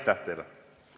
Aitäh teile!